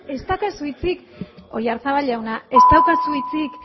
ez daukazu hitzik oyazabal jauna ez daukazu hitzik